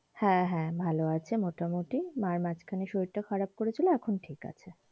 হ্যাঁ হ্যাঁ ভালো আছে মোটামোটি মায়ের মাঝখানে শরীর টা খারাপ করেছিল এখন ঠিকাছে।